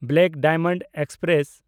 black Diamond express